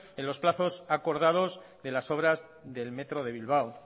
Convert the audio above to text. de los plazos acordados de las obras del metro de bilbao